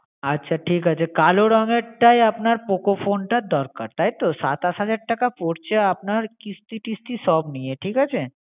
আচ্ছা ঠিক আছে । কালো রঙের টাই আপনার poco phone টার দরকার, তাইতো সাতাশ হাজার টাকা পড়ছে আপনার কিস্তি টিসতি সব নিয়ে ঠিক আছে ।